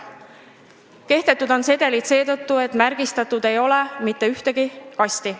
Sedelid on kehtetud seetõttu, et märgistatud ei ole mitte ühtegi kasti.